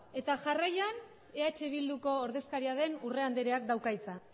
eta jarraian eh bilduko ordezkaria den urrea andreak dauka hitza